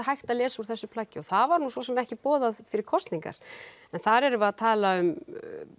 hægt að lesa úr þessu plaggi og það var svo sem ekki boðað fyrir kosningar en þar erum við að tala um